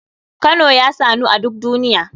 Kano ya sanu a duk duniya.